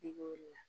I b'o de la